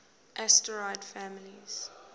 asterid families